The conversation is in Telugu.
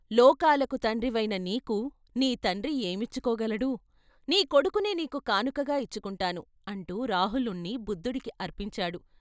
లోకాలకు తండ్రివయిన నీకు నీ తండ్రి ఏమిచ్చుకోగలడు నీ కొడుకునే నీకు కానుకగా ఇచ్చుకుంటాను" అంటూ రాహులుణ్ణి బుద్ధుడికి అర్పించాడు.